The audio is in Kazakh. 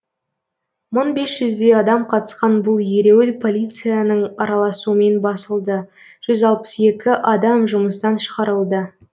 мың бес жүздей адам қатысқан бұл ереуіл полицияның араласуымен басылды жүз алпыс екі адам жұмыстан шығарылды